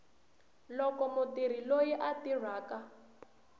loko mutirhi loyi a tirhaka